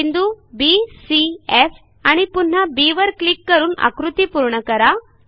बिंदू B C F आणि पुन्हा बी वर क्लिक करून आकृती पूर्ण करा